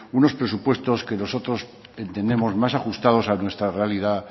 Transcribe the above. unos presupuestos que nosotros entendemos más ajustados a nuestra realidad